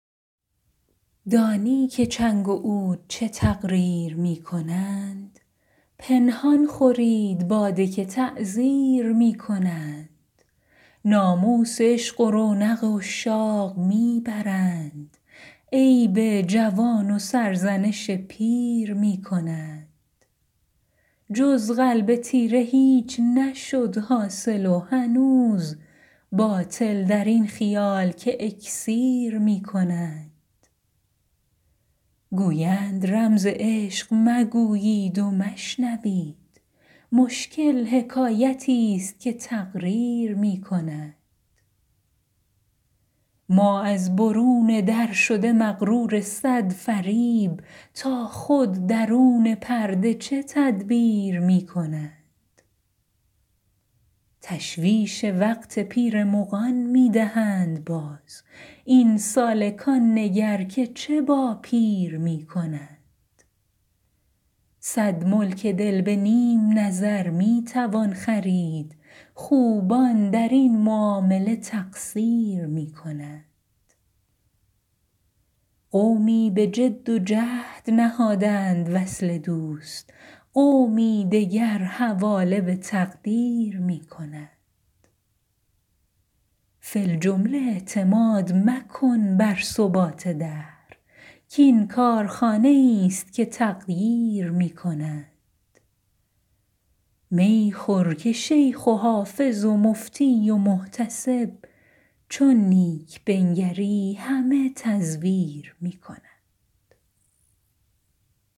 دانی که چنگ و عود چه تقریر می کنند پنهان خورید باده که تعزیر می کنند ناموس عشق و رونق عشاق می برند عیب جوان و سرزنش پیر می کنند جز قلب تیره هیچ نشد حاصل و هنوز باطل در این خیال که اکسیر می کنند گویند رمز عشق مگویید و مشنوید مشکل حکایتیست که تقریر می کنند ما از برون در شده مغرور صد فریب تا خود درون پرده چه تدبیر می کنند تشویش وقت پیر مغان می دهند باز این سالکان نگر که چه با پیر می کنند صد ملک دل به نیم نظر می توان خرید خوبان در این معامله تقصیر می کنند قومی به جد و جهد نهادند وصل دوست قومی دگر حواله به تقدیر می کنند فی الجمله اعتماد مکن بر ثبات دهر کـ این کارخانه ایست که تغییر می کنند می خور که شیخ و حافظ و مفتی و محتسب چون نیک بنگری همه تزویر می کنند